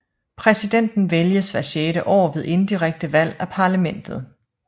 Præsidenten vælges hvert sjette år ved indirekte valg af parlamentet